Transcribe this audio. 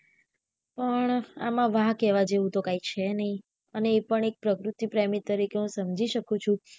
પણ આમ વાંક કેહવા જેવું તો કઈ છે નાઈ અને એ પણ એક પ્રકૃતિ પ્રેમી તરીકે હું સમજી શકું છું